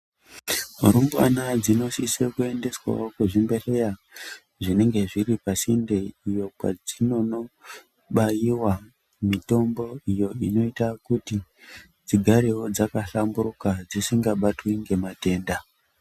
Rumnwana dzinosise kuendeswawo kuzvimbedhleya zvinenge zviri pasinde iyo kwadzinonobaiwa mitombo inoita kuti dzigarewo dzakafamburuka dzisikabatwi ngematenda.